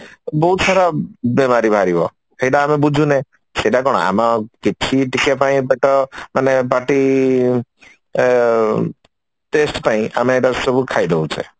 ବହୁତ ସାରା ବେମାରି ବାହାରିବ ସେଇଟା ଆମେ ବୁଝୁନେ ସେଇଟା କଣ ଆମ କିଛି ପେଟ ମାନେ ପାଟି ଆଁ taste ପାଇଁ ଆମେ ଏଟାସବୁ ଖାଇ ଦଉଛେ